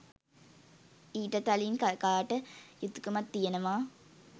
ඊට තලින් කකාට යුතුකමක් තියෙනවා